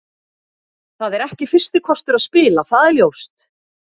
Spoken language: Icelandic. Það er ekki fyrsti kostur að spila, það er ljóst.